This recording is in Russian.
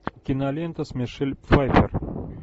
кинолента с мишель пфайффер